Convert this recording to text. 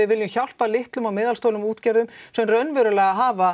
vilja hjálpa litlum og meðalstórum útgerðum sem raunverulega hafa